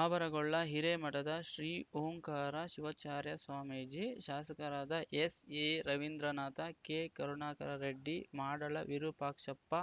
ಆವರಗೊಳ್ಳ ಹಿರೇಮಠದ ಶ್ರೀ ಓಂಕಾರ ಶಿವಾಚಾರ್ಯ ಸ್ವಾಮೀಜಿ ಶಾಸಕರಾದ S A Ravindranath K Karunakara Reddy Madal Virupakshappa